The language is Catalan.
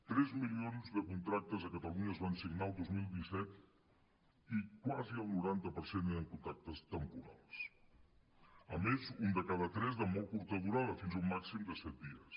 tres milions de contractes a catalunya es van signar el dos mil disset i quasi el noranta per cent eren contractes temporals a més un de cada tres de molt curta durada fins a un màxim de set dies